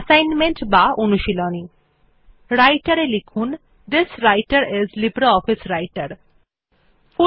assignment বা অনুশীলনী Writer এ থিস্বৃতের আইএস লিব্রিঅফিস রাইটের লিখুন